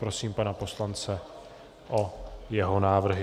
Prosím pana poslance o jeho návrhy.